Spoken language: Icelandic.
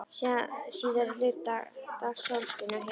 Síðari hluta dags sólskin og hiti.